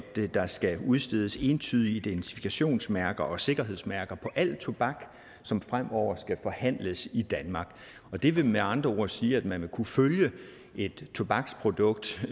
der skal udstedes entydige identifikationsmærker og sikkerhedsmærker på al tobak som fremover skal forhandles i danmark det vil med andre ord sige at man vil kunne følge et tobaksprodukt